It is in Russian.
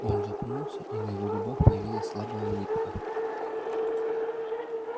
он запнулся и на его губах появилась слабая улыбка